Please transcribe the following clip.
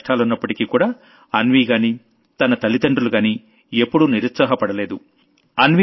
ఇన్ని కష్టాలున్నప్పటికీ కూడా అన్వీగానీ తన తల్లిదండ్రులుగానీ ఎప్పుడూ నిరుత్సాహ పడలేదు